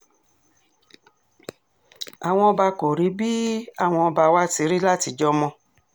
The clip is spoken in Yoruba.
àwọn ọba kò rí bíi àwọn ọba wa ti rí látijọ́ mọ́